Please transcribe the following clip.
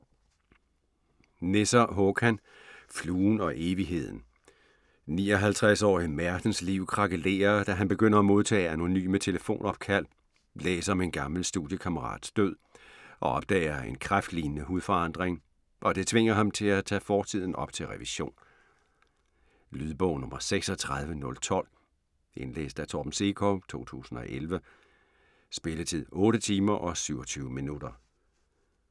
Nesser, Håkan: Fluen og evigheden 54-årige Maertens' liv krakelerer, da han begynder at modtage anonyme telefonopkald, læser om en gammel studiekammerats død og opdager en kræftlignende hudforandring, og det tvinger ham til at tage fortiden op til revision. Lydbog 36012 Indlæst af Torben Sekov, 2011. Spilletid: 8 timer, 27 minutter.